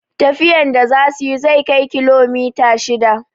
Tafiyar da za suyi zai kai kilomita shida